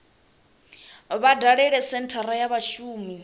vha dalele senthara ya vhashumi